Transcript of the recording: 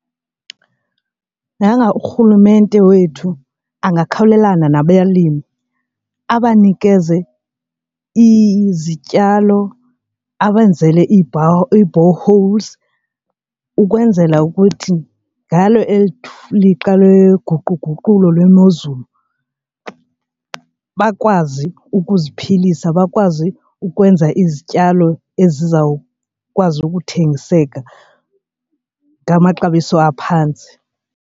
Yanga urhulumente wethu angakhawulelana nabelimi abanikeze izityalo abenzele ii-boreholes ukwenzela ukuthi ngalo eli lixa loguquguqukayo lwemozulu bakwazi ukuziphilisa bakwazi ukwenza izityalo ezizawukwazi ukuthengiseka ngamaxabiso aphantsi.